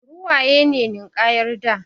Ruwaye ne ninkayar da